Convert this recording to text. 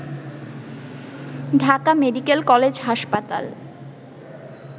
Dhaka medical college হাসপাতাল